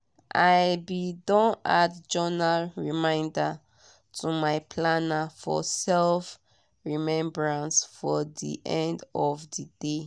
i be don add journal reminder to my planner for self-remebrance for de end of de dey.